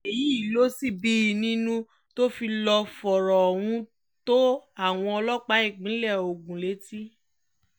èyí ló sì bí i nínú tó fi lọ́ọ́ fọ̀rọ̀ ohun tó àwọn ọlọ́pàá ìpínlẹ̀ ogun létí